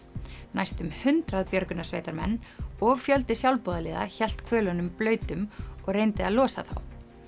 næstum hundrað björgunarsveitarmenn og fjöldi sjálfboðaliða hélt blautum og reyndi að losa þá